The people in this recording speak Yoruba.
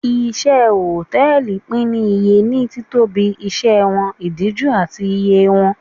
Iṣẹ́ Hòtẹ́lìì pín ní iye ní títóbi, iṣẹ́ wọn, ìdíjú, àti iye wọn.